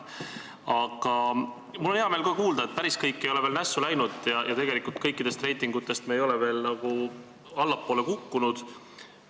Aga mul on hea meel ka kuulda, et päris kõik ei ole veel nässu läinud ja kõikides reitingutes ei ole me allapoole kukkunud.